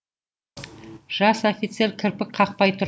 жас офицер кірпік қақпай тұр